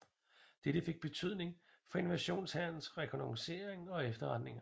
Dette fik betydning for invasionshærens rekognoscering og efterretninger